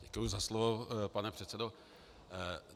Děkuji za slovo, pane předsedo.